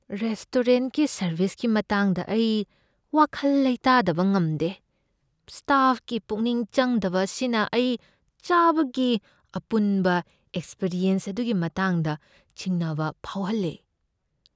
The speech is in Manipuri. ꯔꯦꯁꯇꯣꯔꯦꯟꯠꯀꯤ ꯁꯔꯕꯤꯁꯀꯤ ꯃꯇꯥꯡꯗ ꯑꯩ ꯋꯥꯈꯜ ꯂꯩꯇꯥꯗꯕ ꯉꯝꯗꯦ, ꯁ꯭ꯇꯥꯐꯀꯤ ꯄꯨꯛꯅꯤꯡ ꯆꯪꯗꯕ ꯑꯁꯤꯅ ꯑꯩ ꯆꯥꯕꯒꯤ ꯑꯄꯨꯟꯕ ꯑꯦꯛꯄꯤꯔꯤꯑꯦꯟꯁ ꯑꯗꯨꯒꯤ ꯃꯇꯥꯡꯗ ꯆꯤꯡꯅꯕ ꯐꯥꯎꯍꯜꯂꯦ꯫